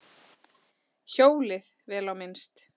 Hjólið, vel á minnst.